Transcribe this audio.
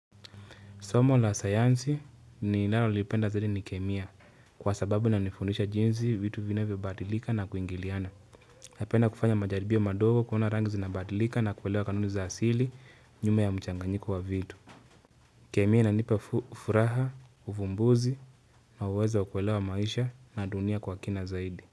Somo la sayansi ni nalolipenda zaidi ni kemia kwa sababu na nifundisha jinsi vitu vinavyo badilika na kuingiliana. Napenda kufanya majaribio madogo kuona rangi zina badilika na kuelewa kanuni za asili nyuma ya mchanganyiko wa vitu. Kemia inanipa ufuraha, ufumbuzi na uwezo ukuelewa maisha na dunia kwa kina zaidi.